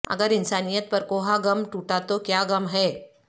اگر انسانیت پر کوہ غم ٹوٹا تو کیا غم ہے